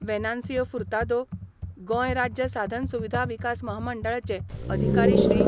वेनान्सियो फुर्तादो, गोंय राज्य साधन सुविधा विकास महामंडळाचे अधिकारी श्री.